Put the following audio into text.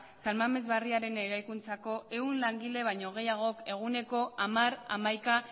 san mames barriaren eraikuntzako ehun langile baino gehiagok eguneko hamar hamaika